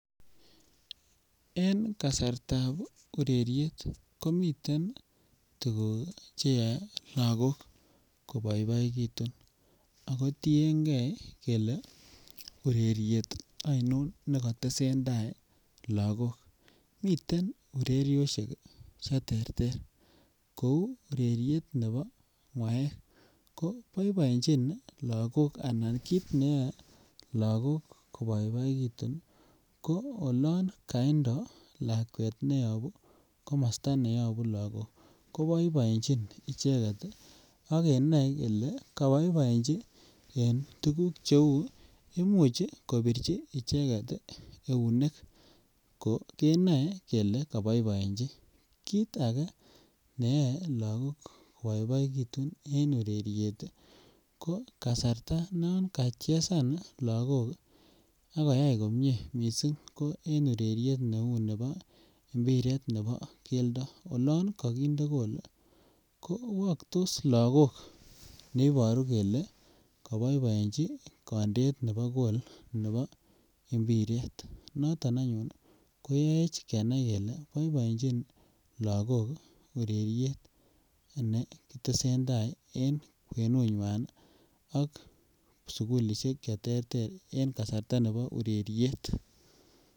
En kasartab ureryet komiten tuguk che yoe logok koboiboekitun ako tiengee kelee ureryet oinon neko tesentai logok. Miten ureryosek che terter kouu ureryet nebo ngwaek ko boiboenjin Logok anan kit neyoe logok koboiboekitun ii ko olon kaindo lakwet neyobu komosto neyobu logok ko boiboenjin icheget ii ak kenoe kelee koboiboeji en tuguk che uu, imuch kobirji icheget ii eunek ko keboe kelee koboiboeji. Kit age neyoe logok koboiboekitun en ureryet ii ko kasarta nan kachezan logok ak koyay komie missing en ureryet en neuu nebo mbiret nebo keldo olon kokinde goal ko woktos logok ne iboru kelee koboiboeji kondeet nebo goal nebo mbiret. Noton anyun Koyoech kenai kelee boiboenjin Logok ureryet ana nekitestaj en kwenunywan ak sukulishek che terter en kasarta nebo ureryet